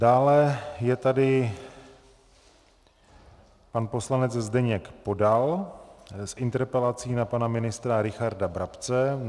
Dále je tady pan poslanec Zdeněk Podal s interpelací na pana ministra Richarda Brabce.